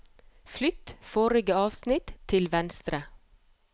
Flytt forrige avsnitt til venstre